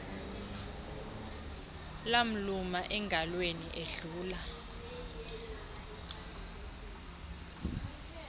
lamluma engalweni ledlula